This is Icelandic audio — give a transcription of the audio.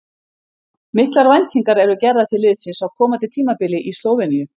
Miklar væntingar eru gerðar til liðsins á komandi tímabili í Slóveníu.